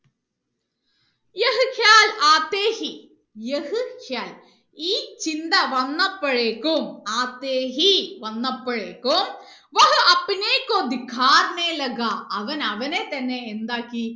ഈ ചിന്ത വന്നപ്പോഴേക്കും വന്നപ്പോഴേക്കും അവൻ അവനെ തന്നെ എന്താക്കി